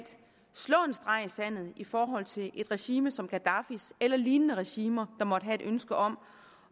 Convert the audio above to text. streg i sandet i forhold til et regime som gaddafis eller lignende regimer der måtte have et ønske om